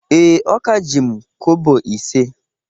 Ee, o ka ji m kobo ise